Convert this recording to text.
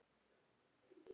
Átta heldur mikið.